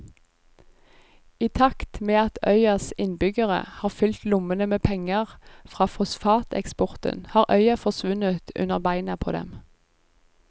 I takt med at øyas innbyggere har fylt lommene med penger fra fosfateksporten har øya forsvunnet under beina på dem.